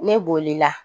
Ne bolila